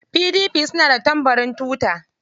PDP suna da tambarin tuta.